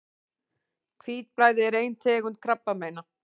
Hvítblæði er ein tegund krabbameina.